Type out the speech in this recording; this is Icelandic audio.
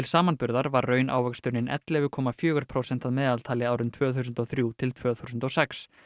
samanburðar var raunávöxtunin ellefu komma fjögur prósent að meðaltali árin tvö þúsund og þrjú til tvö þúsund og sex